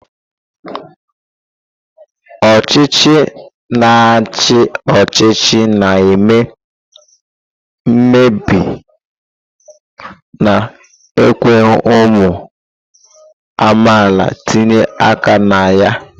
Ọchịchị na-achị ọchịchị na-eme mkpebi na-ekweghị ụmụ amaala itinye aka na ya.